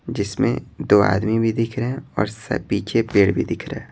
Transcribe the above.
जिसमें दो आदमी भी दिख रहे हैं और पीछे पेड़ भी दिख रहा है।